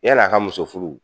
Yani a ka muso furu.